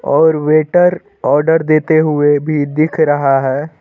और waiter order देते हुए भी दिख रहा है।